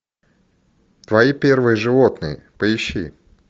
твои первые животные поищи